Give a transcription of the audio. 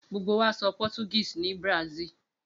Gbogbo wa sọ Portuguese ní Brazil.